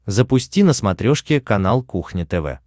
запусти на смотрешке канал кухня тв